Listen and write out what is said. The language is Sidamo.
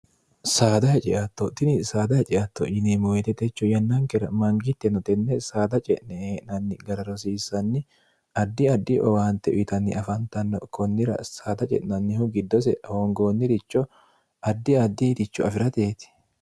saada heceatto tini saada heceatto yine moyitetecho yannankera mangitteno tenne saada ce'ne ee'nanni gara rosiissanni addi addi owaante uyitanni afantanno konnira saada ce'nannihu giddose hoongoonniricho addi addi iricho afi'rateeti